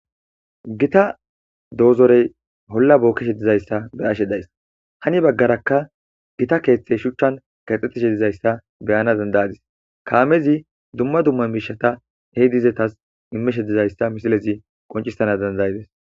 gita doozorey olla bookkeshe dizayssa be'ashe dayssa hani baggarakka gita keeththey shuchchan kaxxetishe dizayssa beyana dandayadis kaamezi dumma dumma miishata hey dizetas immishe dizayssa misilezi qoncisana dandayides